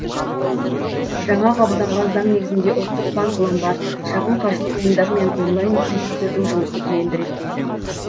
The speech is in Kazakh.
жаңа қабылданған заң негізінде ұлттық банк ломбард шағын қаржылық ұйымдар мен онлайн кредиттердің жұмысын енді реттейді